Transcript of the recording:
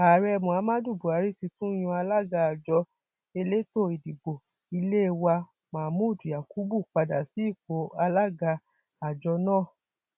ààrẹ muhammadu buhari ti tún yan alága àjọ elétò ìdìbò ilé wa mahmood yakubu padà sí ipò alága àjọ náà